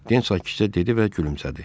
Den sakitcə dedi və gülümsədi.